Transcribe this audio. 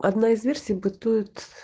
одна из версий бытует